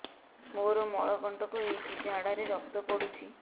ମୋରୋ ମଳକଣ୍ଟକ ହେଇଚି ଝାଡ଼ାରେ ରକ୍ତ ପଡୁଛି